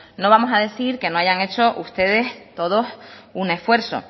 no vamos a decir que no hayan hecho ustedes todo un esfuerzo